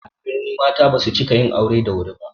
A birni mata basu cika yin aure da wuri ba